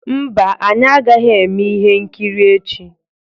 Mba, anyị agaghị eme ihe nkiri echi